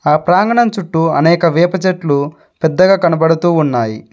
ఆ ప్రాంగణం చుట్టూ అనేక వేప చెట్లు పెద్దగా కనబడుతూ ఉన్నాయి.